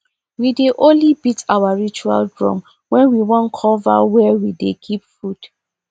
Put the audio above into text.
we dey only beat our ritual drum when we wan cover where we dey keep food